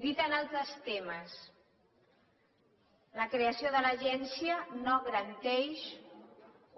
dit amb altres termes la creació de l’agència no garanteix